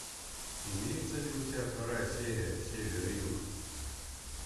имеется ли у тебя вторая серия север и юг